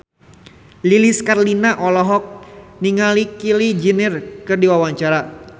Lilis Karlina olohok ningali Kylie Jenner keur diwawancara